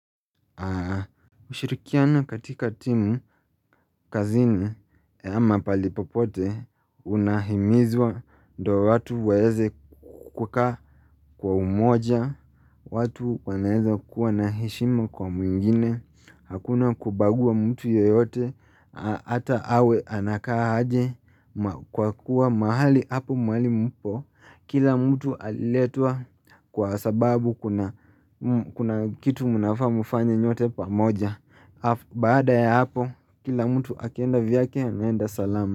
Mshirikiana katika timu kazini ya ama pahali popote unahimizwa ndo watu waeze kuka kwa umoja watu wanaeza kuwa na heshima kwa mwingine Hakuna kubagua mtu yeyote Ata awe anakaa aje Kwa kuwa mahali hapo mwali mpo Kila mtu aliletwa kwa sababu kuna kitu munafamufanye nyote pa moja Baada ya hapo kila mtu akienda vyake anaenda salama.